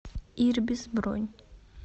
ирбис бронь